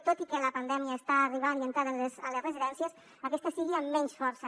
tot i que la pandèmia està arribant i entrant a les residències aquesta ho faci amb menys força